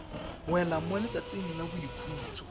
wela mo letsatsing la boikhutso